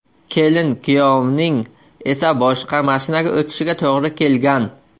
Kelin-kuyovning esa boshqa mashinaga o‘tishiga to‘g‘ri kelgan.